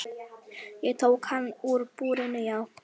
Ég tók hann úr búrinu, já.